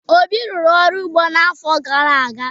Obi rụrụ ọrụ ugbo n'afọ gara aga.